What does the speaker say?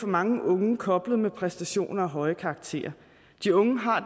mange unge koblet med præstationer og høje karakterer de unge har